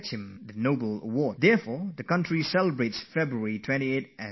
And so the nation celebrates this day as National Science Day